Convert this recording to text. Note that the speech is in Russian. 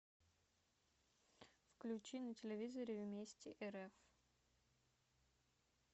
включи на телевизоре вместе рф